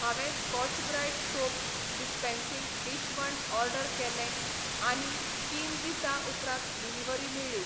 हांवें Scotch Brite soap dispensing dishwand order केले आनी तीन दिसां उपरांत डिलिव्हरी मेळ्ळी.